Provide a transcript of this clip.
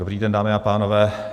Dobrý den, dámy a pánové.